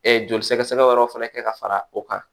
joli sɛgɛsɛgɛ wɛrɛw fana kɛ ka fara o kan